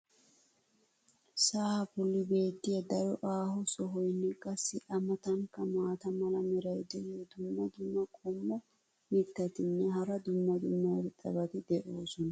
sa"aa boli beetiya daro aaho sohoynne qassi a matankka maata mala meray diyo dumma dumma qommo mitattinne hara dumma dumma irxxabati de'oosona.